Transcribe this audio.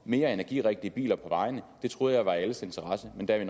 mere energirigtige biler på vejene det troede jeg var i alles interesse men der